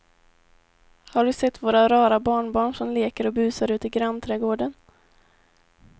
Har du sett våra rara barnbarn som leker och busar ute i grannträdgården!